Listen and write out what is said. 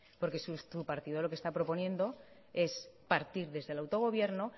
porque su partido lo que está proponiendo es partir desde el autogobierno